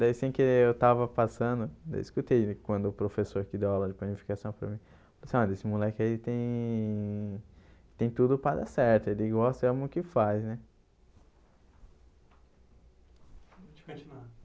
Daí assim que eu estava passando, eu escutei quando o professor que deu aula de planificação para mim, disse, olha, esse moleque aí tem tem tudo para dar certo, ele gosta e ama o que faz né.